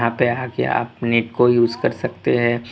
को यूज कर सकते हैं।